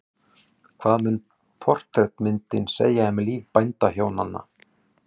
Hvað mun portrettmyndin segja um líf bændahjónanna?